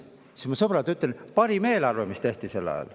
Aga, sõbrad, ma ütlen teile, et see oli parim eelarve, mis tehti sel ajal.